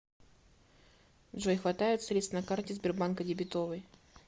джой хватает средств на карте сбербанка дебетовой